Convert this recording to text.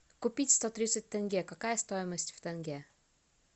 купить сто тридцать тенге какая стоимость в тенге